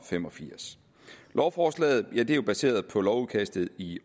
fem og firs lovforslaget er jo baseret på lovudkastet i